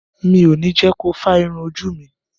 Mi ò ní jẹ́ ko fá irun ojú mi.